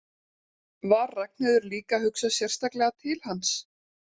Var Ragnheiður líka að hugsa sérstaklega til hans?